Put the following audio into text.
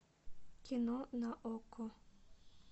кино на окко